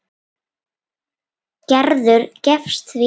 Gerður gefst því upp.